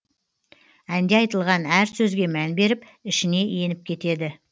әнде айтылған әр сөзге мән беріп ішіне еніп кетеді